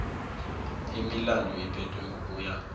imilandu iphethwe ngokuya